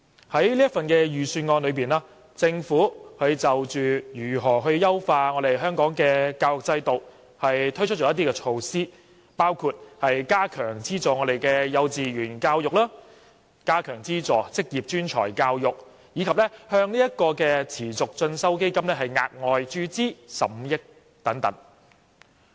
在這份預算案中，政府就如何優化本港的教育制度推出了一些措施，包括加強資助幼稚園教育及職業專才教育，以及向持續進修基金額外注資15億元等。